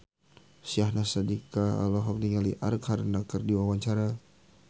Syahnaz Sadiqah olohok ningali Arkarna keur diwawancara